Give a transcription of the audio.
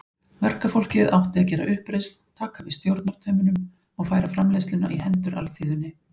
Verkafólkið átti að gera uppreisn, taka við stjórnartaumunum og færa framleiðsluna í hendur alþýðunni.